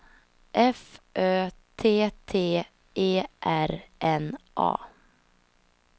F Ö T T E R N A